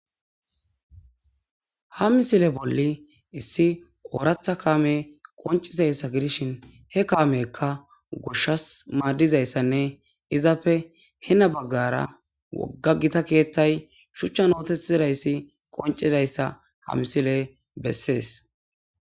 ha misile bolli issi ooratha kaame qoncizayssa gidishin he kaamekka goshshas maaddizayssanne izappe hena baggara wogga gita keeththay shuchchan ootethidayssi qoncidayssa ha misile bessees.